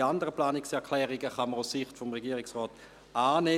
Die anderen Planungserklärungen kann man aus Sicht des Regierungsrates annehmen.